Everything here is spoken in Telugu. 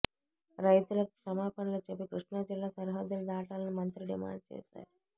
రైతులకు క్షమాపణలు చెప్పి కృష్ణాజిల్లా సరిహద్దులు దాటాలని మంత్రి డిమాండు చేశారు